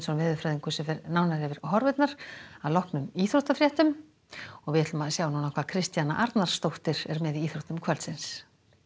veðurfræðingur fer nánar yfir horfurnar að loknum íþróttafréttum við skulum sjá hvað Kristjana Arnarsdóttir er með í íþróttum kvöldsins